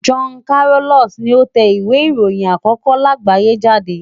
Johann Carolus ni ó tẹ ìwé ìròyìn àkókó láàgbáyé jáde.